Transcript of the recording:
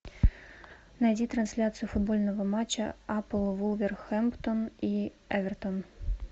найди трансляцию футбольного матча апл вулверхэмптон и эвертон